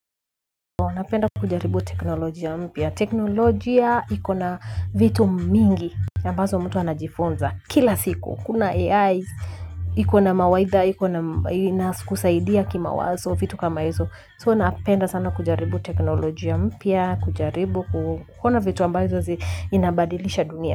Napenda kujaribu teknolojia mpya. Teknolojia iko na vitu mingi. Ambazo mtu anajifunza kila siku. Kuna AI, iko na mawaidha, inakusaidia kima wazo vitu kama hizo. So napenda sana kujaribu teknolojia mpya, kujaribu, kuona vitu ambazo zinabadilisha dunia.